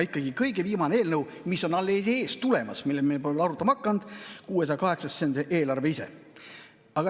Kõige viimane eelnõu, mis on alles tulemas ja mille üle me pole veel arutama hakanud, 608 SE, on eelarve ise.